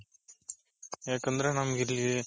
ಯಾಕಂದ್ರೆ ನಮಗಿಲ್ಲಿ